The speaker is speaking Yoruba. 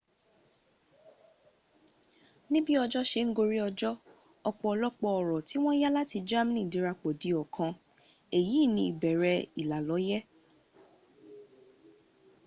níbí ọjọ́ se ń gorí ọjọ́ ọ̀pọ̀lọpọ̀ ọ̀rọ̀ tí wọ́n yá láti germany dirapọ̀ di ọ̀kan. èyí ni ìbẹ̀rẹ̀ ìlàlọ́yẹ̀